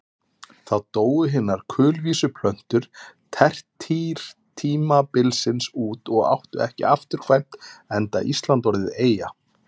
Þá dóu hinar kulvísu plöntur tertíertímabilsins út og áttu ekki afturkvæmt enda Ísland orðið eyja.